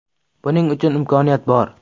Buning uchun imkoniyat bor.